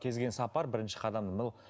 кел келген сапар бірінші қадамнан